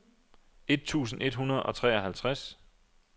et tusind et hundrede og treoghalvtreds